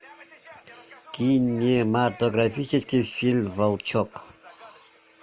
кинематографический фильм волчок